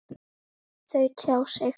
Þau tjá sig.